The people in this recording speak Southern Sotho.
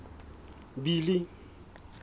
billy